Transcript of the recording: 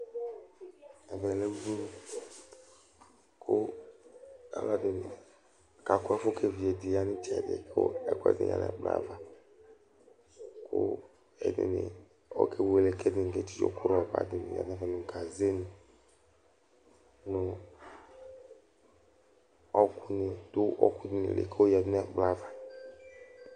Ɛvɛ lɛ udunu kʋ alʋɛdɩnɩ kakʋ ɛfʋ kʋ evidze dɩ ya nʋ ɩtsɛdɩ kʋ ɛkʋɛdɩnɩ yǝ nʋ ɛkplɔ ava kʋ ɛdɩnɩ ɔkewele kʋ ɛdɩnɩ ketsitso kʋ rɔba dɩnɩ lɛ nʋ ɛfɛ nʋ gazenɩ kʋ ɔɣɔkʋnɩ dʋ ɔɣɔkʋ dɩnɩ li kʋ ayɔyǝdu nʋ ɛkplɔ ava